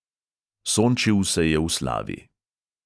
Sončil se je v slavi.